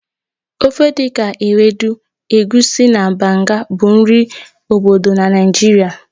Ofe dị ka Ewedu, Egusi, na Banga bụ nri obodo na Naịjirịa